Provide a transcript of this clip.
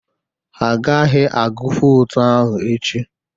Ha agaghị agụ votu ahụ echi.